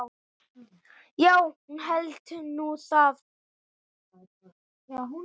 Já, hún hélt nú það.